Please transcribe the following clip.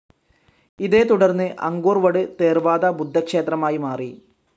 ഇതേതുടർന്ന് Angkor Wat Theravada ബുദ്ധക്ഷേത്രമായി മാറി.